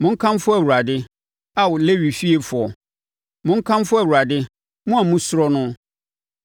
monkamfo Awurade, Ao Lewi fiefoɔ; monkamfo Awurade, mo a mosuro no.